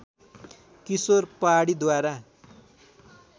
किशोर पहाडीद्वारा